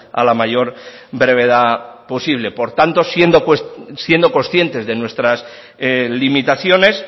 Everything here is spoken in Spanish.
a la mayor brevedad posible por tanto siendo conscientes de nuestras limitaciones